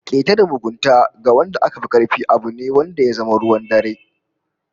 Keta da mugunta ga wanda aka fi karfi abu ne da ya zama ruwan dare